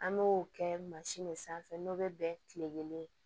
An b'o kɛ mansin de sanfɛ n'o bɛ bɛn kile kelen